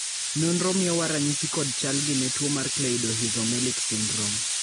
nonro miyowa ranyisi kod chalgi ne tuo mar Cleidorhizomelic syndrome